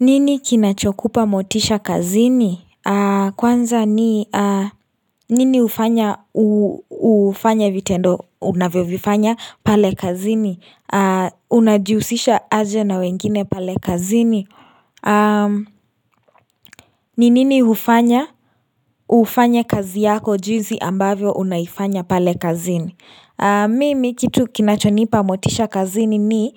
Nini kinachokupa motisha kazini? Kwanza ni nini ufanya ufanya vitendo unavyo vifanya pale kazini? Unajiusisha aje na wengine pale kazini? Ninini hufanya? Ufanya kazi yako jizi ambavyo unaifanya pale kazini? Mimi kitu kinachonipa motisha kazini ni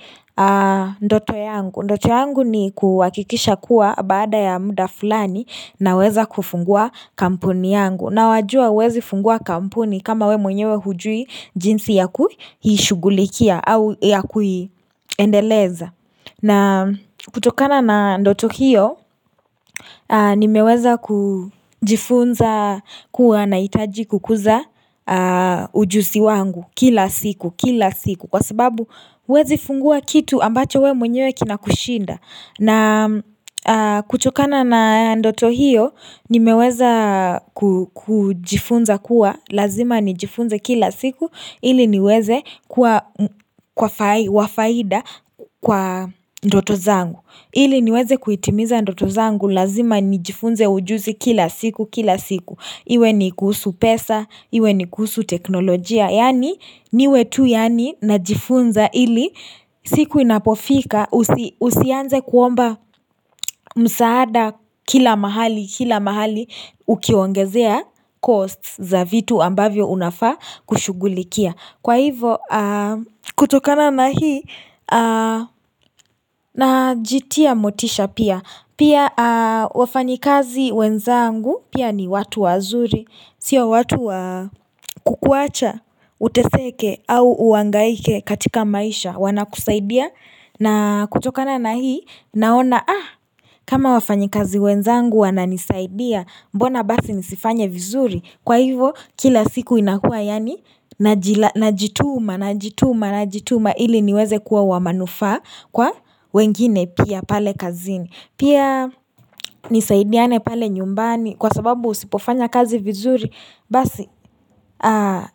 ndoto yangu. Ndoto yangu ni kuakikisha kuwa baada ya muda fulani na weza kufungua kampuni yangu. Na wajua uezi fungua kampuni kama we mwenyewe hujui jinsi ya kuhishugulikia au ya kuiendeleza. Na kutokana na ndoto hiyo, ni meweza kujifunza kuwa naitaji kukuza ujusi wangu kila siku, kila siku. Kwa sababu huezi fungua kitu ambacho we mwenyewe kina kushinda. Na kutokana na ndoto hiyo, nimeweza ku kujifunza kuwa, lazima nijifunze kila siku, ili niweze kwa kwafai wafaida kwa ndoto zangu. Ili niweze kuitimiza ndoto zangu, lazima nijifunze ujuzi kila siku, kila siku. Iwe ni kuhusu pesa, iwe ni kuhusu teknolojia, yani niwe tu yani na jifunza ili siku inapofika usi usianze kuomba msaada kila mahali, kila mahali ukiwaongezea costs za vitu ambavyo unafaa kushugulikia. Kwa hivo kutokana na hii na jitia motisha pia. Pia wafanyikazi wenzangu pia ni watu wazuri. Sio watu wa kukuacha, uteseke au uangaike katika maisha. Wana kusaidia na kutokana na hii naona ah kama wafanyikazi wenzangu wana nisaidia mbona basi nisifanye vizuri. Kwa hivo kila siku inakua yani najila na jituma na jituma na jituma ili niweze kuwa wamanufaa kwa wengine pia pale kazini Pia nisaidiane pale nyumbani kwa sababu usipofanya kazi vizuri basi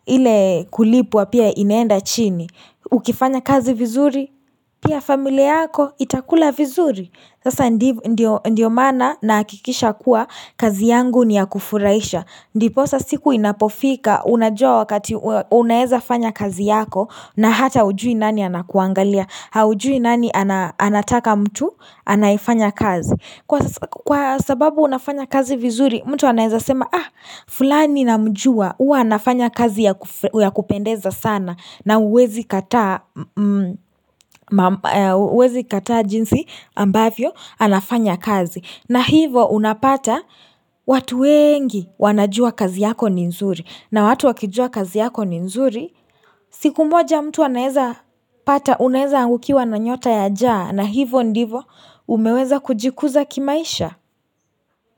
ile kulipwa pia inaenda chini Ukifanya kazi vizuri pia familia yako itakula vizuri Sasa ndiv ndio ndio mana naakikisha kuwa kazi yangu ni ya kufuraisha ndipo sasiku inapofika unajua wakati unaeza fanya kazi yako na hata ujui nani anakuangalia, haujui nani ana anataka mtu anaefanya kazi. Kwas Kwa sababu unafanya kazi vizuri mtu anaeza sema ah fulani na mjua ua anafanya kazi ya kufe kupendeza sana na uezi kataa uezi kataa jinsi ambavyo anafanya kazi. Na hivo unapata watu wengi wanajua kazi yako ni nzuri na watu wakijua kazi yako ni nzuri. Siku moja mtu anaeza pata unaeza angukiwa na nyota ya jaa na hivo ndivo umeweza kujikuza kimaisha.